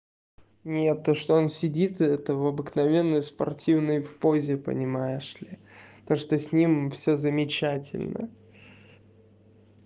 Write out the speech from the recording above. нет то что он сидит это в обыкновенной спортивной в позе понимаешь ли то что с ним всё замечательно